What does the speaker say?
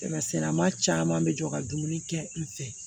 Kɛmɛsɛma caman bɛ jɔ ka dumuni kɛ n fɛ